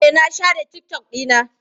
Eh, na share TikTok ɗina.